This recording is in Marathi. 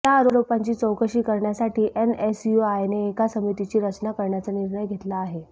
या आरोपांची चौकशी करण्यासाठी एनएसयूआयने एका समितीची रचना करण्याचा निर्णय घेतला आहे